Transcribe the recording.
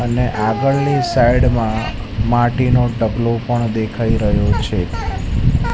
અને આગળની સાઇડ મા માટીનું ડબલુ પણ દેખાય રહ્યુ છે.